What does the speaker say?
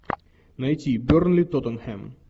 найти бернли тоттенхэм